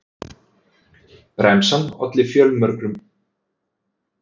Bremsan olli fjölmörgum stuðningsmönnum sínum engum vonbrigðum og var lykilþáttur í upprisunni.